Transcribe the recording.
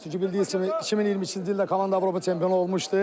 Çünki bildiyiniz kimi 2022-ci ildə komanda Avropa çempionu olmuşdu.